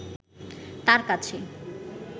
তার কাছে